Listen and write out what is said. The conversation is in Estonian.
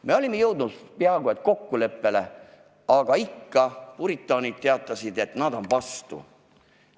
Me olime peaaegu jõudnud kokkuleppele, aga ikka teatasid puritaanid, et nad on vastu.